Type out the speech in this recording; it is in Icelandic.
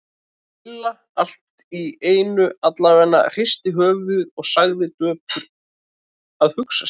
Milla allt í einu alvarleg, hristi höfuðið og sagði döpur: Að hugsa sér.